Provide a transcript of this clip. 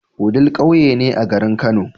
Wudil ƙauye ne a garin kano